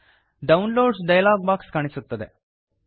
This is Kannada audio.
ಡೌನ್ಲೋಡ್ಸ್ ಡಯಲಾಗ್ ಬಾಕ್ಸ್ ಕಾಣಿಸುತ್ತದೆ